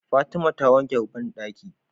Fatima ta wanke banɗaki